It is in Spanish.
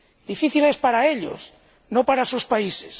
difíciles para ellos, no para sus países.